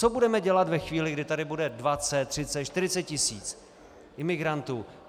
Co budeme dělat ve chvíli, kdy tady bude 20, 30, 40 tisíc imigrantů?